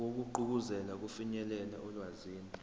wokugqugquzela ukufinyelela olwazini